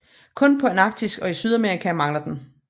Kun på Antarktis og i Sydamerika mangler den